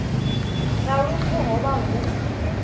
nga lufu ho vha hu